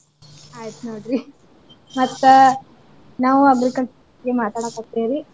ಆಯ್ತ ನೋಡ್ರಿ ಮತ್ತ ನಾವು agriculture ಮಾತಾಡಕತೀವ್ರಿ.